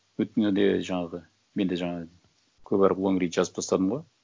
өткенде де жаңағы мен де жаңағы көп әріп лонгрид жазып тастадым ғой